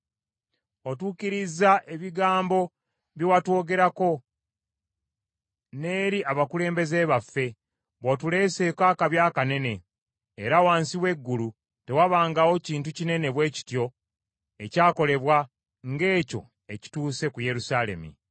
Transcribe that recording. Otuukirizza ebigambo bye watwogerako, n’eri abakulembeze baffe, bw’otuleeseeko akabi akanene; era wansi w’eggulu tewabangawo kintu kinene bwe kityo ekyakolebwa, ng’ekyo ekituuse ku Yerusaalemi.